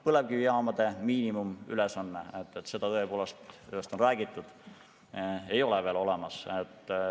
Põlevkivijaamade miinimumülesannet – tõepoolest sellest on räägitud – ei ole veel olemas.